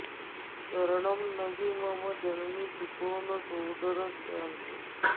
शरणं न हि मम जननी सुतो न सोदरश्चान्ये